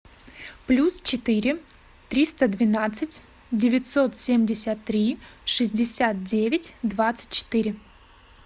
плюс четыре триста двенадцать девятьсот семьдесят три шестьдесят девять двадцать четыре